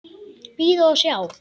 Bíða og sjá.